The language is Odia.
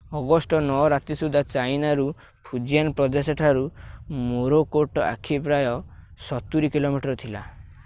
ଅଗଷ୍ଟ 9 ରାତି ସୁଧା ଚାଇନା ର ଫୁଜିଆନ ପ୍ରଦେଶଠାରୁ ମୋରାକୋଟ ଆଖି ପ୍ରାୟ ସତୁରୀ କିଲୋମିଟର ଥିଲା